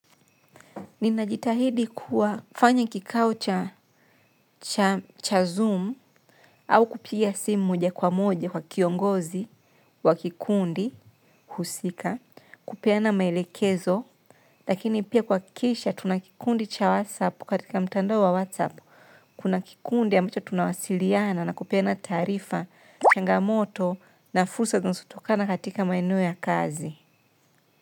Ninajitahidi kuwafanya kikao cha zoom au kupiga simu moja kwa moja kwa kiongozi wa kikundi husika, kupeana maelekezo, lakini pia kuhakisha tuna kikundi cha whatsapp katika mtando wa whatsapp, kuna kikundi ambacho tunawasiliana na kupeana taarifa, changamoto na fusa gonsutokana katika maino ya kazi.